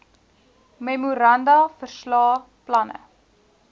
memoranda verslae planne